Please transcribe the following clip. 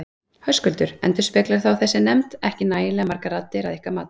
Höskuldur: Endurspeglar þá þessi nefnd ekki nægilega margar raddir að ykkar mati?